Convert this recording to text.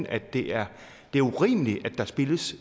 at det er urimeligt at der spildes